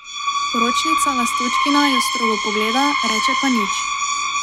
Poročnica Lastočkina jo strogo pogleda, reče pa nič.